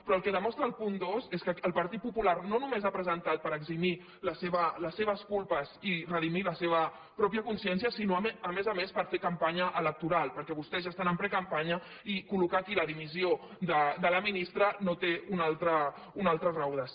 però el que demostra el punt dos és que el partit popular no només l’ha presentat per eximir les seves culpes i redimir la seva mateixa consciència sinó a més a més per fer campanya electoral perquè vostès ja estan en precampanya i col·locar aquí la dimissió de la ministra no té una altra raó de ser